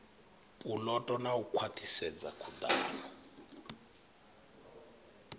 puloto na u khwaṱhisedza khuḓano